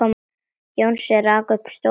Jónsi rak upp stór augu.